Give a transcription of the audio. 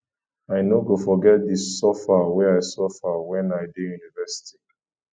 i no go forget di suffer wey i suffer wen i dey university